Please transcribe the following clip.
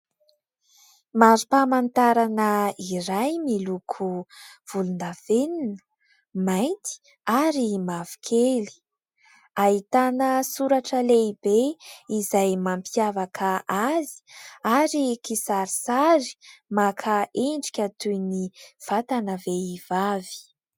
Mari-pamantarana iray miloko volondavenona, mainty ary mavokely. Ahitana soratra lehibe izay mampiavaka azy ary kisarisary maka endrika toy ny vatana vehivavy.